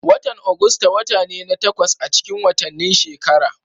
Watan Agusta wata ne na takwas acikin watanni shekara.